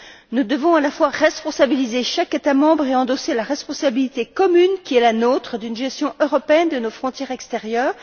Nous devons, à la fois, responsabiliser chaque État membre et endosser la responsabilité commune qui est la nôtre d'une gestion européenne de nos frontières extérieures.